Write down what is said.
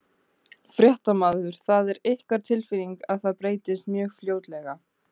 Fréttamaður: Það er ykkar tilfinning að það breytist mjög fljótlega?